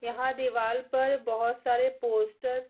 यहाँ दिवाल पर बहुत सारे पोस्टर --